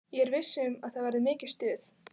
Ég er viss um að það verður mikið stuð.